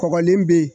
Kɔgɔlen bɛ yen